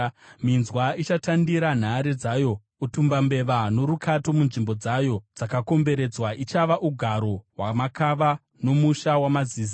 Minzwa ichatandira nhare dzayo, utumbambeva norukato munzvimbo dzayo dzakakomberedzwa. Ichava ugaro hwamakava, nomusha wamazizi.